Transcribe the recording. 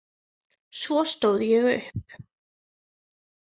Svo stóð ég upp.